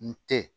N te